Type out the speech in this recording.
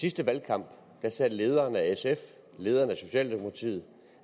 sidste valgkamp sagde lederen af sf og lederen af socialdemokratiet